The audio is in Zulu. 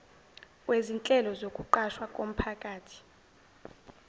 kwezinhlelo zokuqashwa komphakathi